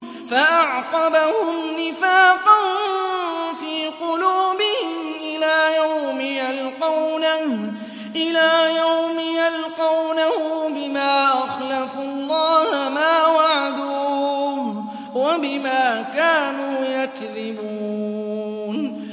فَأَعْقَبَهُمْ نِفَاقًا فِي قُلُوبِهِمْ إِلَىٰ يَوْمِ يَلْقَوْنَهُ بِمَا أَخْلَفُوا اللَّهَ مَا وَعَدُوهُ وَبِمَا كَانُوا يَكْذِبُونَ